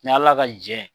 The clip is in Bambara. Ni ala ka jɛ